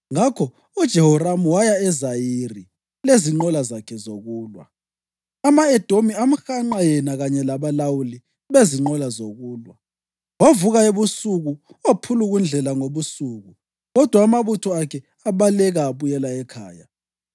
Ngakho uJehoramu waya eZayiri lezinqola zakhe zokulwa. Ama-Edomi amhanqa yena kanye labalawuli bezinqola zokulwa, wavuka ebusuku waphulukundlela ngobusuku; kodwa amabutho akhe abaleka abuyela ekhaya.